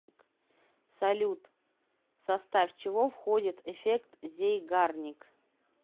салют в состав чего входит эффект зейгарник